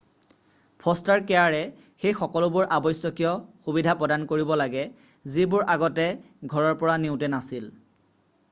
foster কেয়াৰে সেই সকলোবোৰ আৱশ্যকীয় সুবিধা প্ৰদান কৰিব লাগে যিবোৰ আগতে ঘৰৰ পৰা নিওঁতে নাছিল